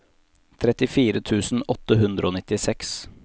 trettifire tusen åtte hundre og nittiseks